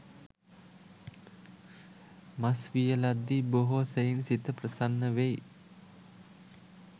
මස් වියලද්දී බොහෝ සෙයින් සිත ප්‍රසන්න වෙයි.